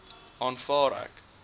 aanvaar ek